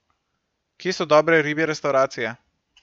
Kje so dobre ribje restavracije?